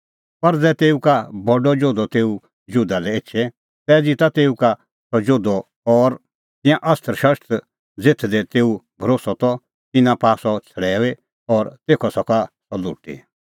पर ज़ै तेऊ का बडअ जोधअ तेऊ जुधा लै एछे तै ज़िता तेऊ का सह जोधअ और तिंयां अस्त्रशस्त्र ज़ेथ दी तेऊ भरोस्सअ त तिन्नां पाआ सह छ़ड़ैऊई और तेखअ सका सह लुटी